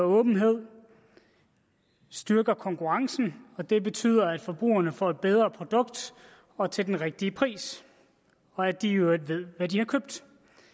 og åbenhed styrker konkurrencen og det betyder at forbrugerne får et bedre produkt og til den rigtige pris og at de i øvrigt ved hvad de har købt